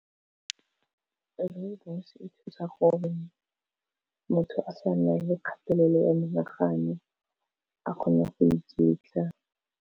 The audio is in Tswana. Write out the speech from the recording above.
Rooibos e thusa gore, motho a sa nna le kgatelelo ya menagano a kgone go iketla.